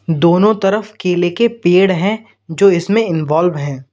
दोनों तरफ केले के पेड़ हैं जो इसमें इंवॉल्व हैं।